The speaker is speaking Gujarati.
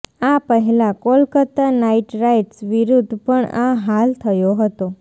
આ પહેલા કોલકત્તા નાઇટ રાઇડર્સ વિરુદ્ધ પણ આ હાલ થયો હતો